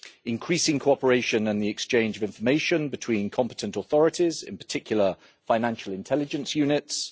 increasing cooperation and the exchange of information between competent authorities, in particular financial intelligence units